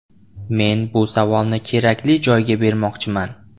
Men bu savolni kerakli joyga bermoqchiman.